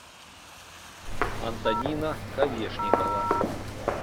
антонина ковешникова